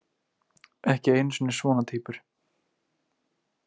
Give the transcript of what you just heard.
Ekki einu sinni svona týpur.